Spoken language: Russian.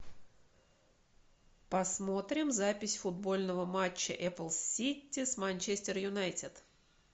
посмотрим запись футбольного матча апл сити с манчестер юнайтед